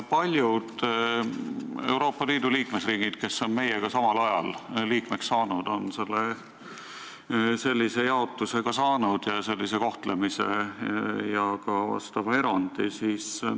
Paljud Euroopa Liidu riigid, kes on meiega samal ajal liikmeks saanud, on sellise jaotuse ka teinud, sellist kohtlemist taotlenud ja ka vastava erandi saanud.